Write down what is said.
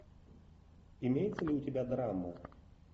имеется ли у тебя драма